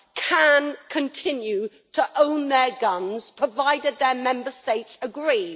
can continue to own their guns provided that their Member States agree.